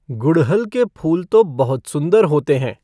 गुड़हल के फूल तो बहुत सुंदर होते हैं।